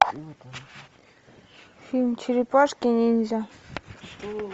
фильм черепашки ниндзя